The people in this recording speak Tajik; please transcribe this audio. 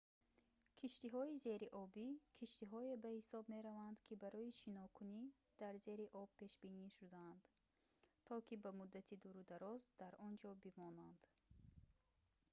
киштиҳои зериобӣ киштиҳое ба ҳисоб мераванд ки барои шинокунӣ дар зери об пешбинӣ шудаанд то ки ба муддати дурудароз дар он ҷо бимонанд